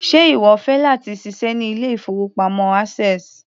Ṣe ìwọ fẹ́ láti ṣiṣẹ́ ní ilé-ìfowópamọ́ access?